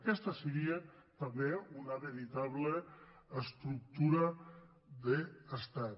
aquesta seria també una verita·ble estructura d’estat